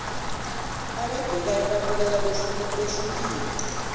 abayibhekayo babukeka behlukile